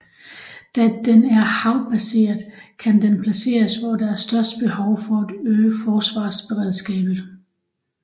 Da den er havbaseret kan den placeres hvor der er størst behov for at øge forsvarsberedskabet